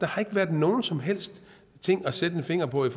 har ikke været nogen som helst ting at sætte en finger på i